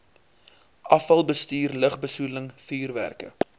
afvalbestuur lugbesoedeling vuurwerke